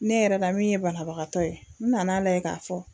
Ne yɛrɛ la min ye banabagatɔ ye n nana lajɛ k'a fɔ